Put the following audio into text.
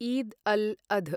ईद् अल् अध्